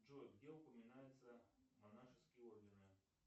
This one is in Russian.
джой где упоминаются монашеские ордены